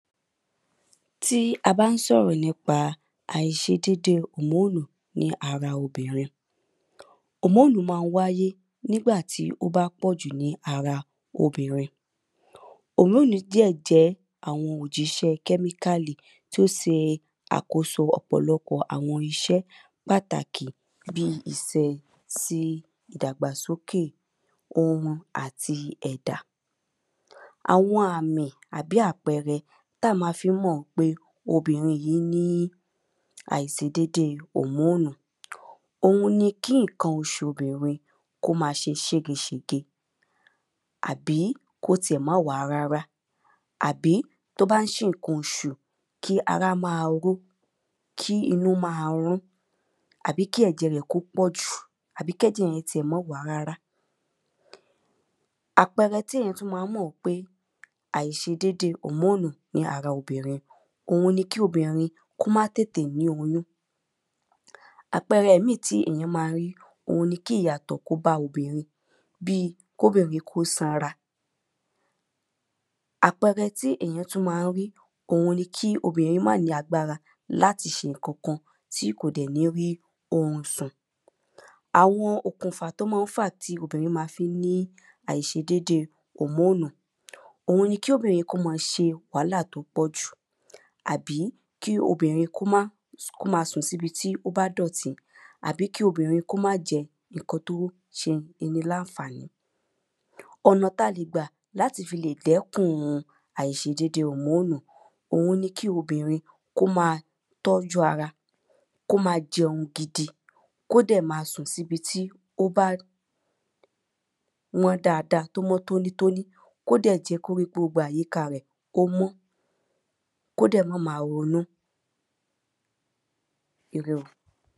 Tí a bá ń sọ̀rọ̀ nípa àìṣedédé hòmóònù ní ara obìnrin. Hòmóònù má ń wáyé nígbà tí ó bá pọ̀jù ní ara obìnrin. Hòmóònù dẹ̀ jẹ́ àwọn òjíṣẹ́ kẹ́míkàlì tó se àkóso ọ̀pọ̀lọpọ̀ àwọn iṣẹ́ pàtàkì bí iṣẹ́ sí ìdàgbàsókè ohun àti ẹ̀dà. Àwọn àmì àbí àpẹrẹ tá má fí ń mọ̀ pé obìnrin yìí ní àìsedédé hòmóònù. Òhun ni kí nǹkan oṣù obìnrin kí ó má ṣe ṣége ṣège àbí kó ti ẹ̀ má wá rárá. Àbí tó bá ń ṣe nǹkan oṣù kí ara má ró kí inú má ɹún àbí kí ẹ̀jẹ̀ rẹ̀ kó pọ̀ jù àbí kí ẹ̀jẹ̀ rẹ̀ mọ́ wá rárá rárá. Àpẹrẹ tí èyàn tún má ń mọ̀ wípé àìṣedédé hòmóònú ní ara obìnrin òun ni kí obìnrin kí ó má tètè ní oyún. Àpẹrẹ míì tí èyàn má ń rí ohun ni kí ìyàtọ̀ kó dé bá obìnrin bí kóbìnrin kó sanra. Àpẹrẹ tí èyàn tún má ń rí òun ni kí obìnrin má ní agbára láti ṣe nǹkan kan tí kò dẹ̀ ní rí orun sùn. Àwọn okùnfà tó má ń fàá tí obìnrin má fi ń ní àìṣedédé hòmóònú. Òun ni kí obìnrin kó má ṣe wàhálà tó pọ̀ jù. Àbí kí obìnrin kó má kó má sùn sí ibi tó bá dọ̀tí Àbí kí obìnrin kó má jẹ nǹkan tó ń ṣe ni láfàní Ọ̀nà tá le gbà láti fi lè dẹ́kùn àìṣedédé hòmóònú òhun ní kí obìnrin kó má tọ́jú ara kó má jẹun gidi kó dè má sùn sí ibi tí ó bá mọ́ dáada tó mọ́ tóní tóní kó dẹ̀ jẹ́ kí gbogbo àyíká rẹ̀ kó mọ́ kó dẹ̀ má má ronú ire o.